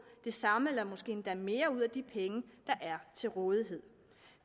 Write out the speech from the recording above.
det samme eller måske endda mere ud af de penge der er til rådighed